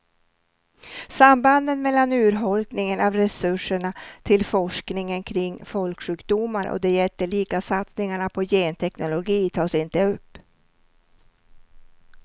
Sambanden mellan urholkningen av resurserna till forskningen kring folksjukdomar och de jättelika satsningarna på genteknologi tas inte upp.